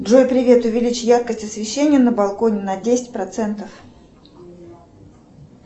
джой привет увеличь яркость освещения на балконе на десять процентов